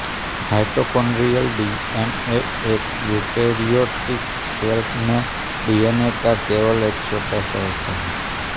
mitochondrial DNA एक eukaryotic cell में DNA का केवल एक छोटा सा हिस्सा है